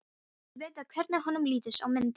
Vill vita hvernig honum lítist á myndina.